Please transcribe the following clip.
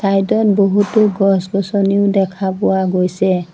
বহুতো গছ গছনিও দেখা পোৱা গৈছে।